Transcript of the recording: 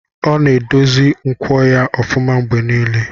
Ọ na-edozi nkwọ ya ofuma mgbe niile.